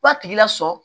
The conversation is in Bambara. K'a tigi lasɔsɔ